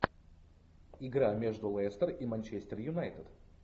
игра между лестер и манчестер юнайтед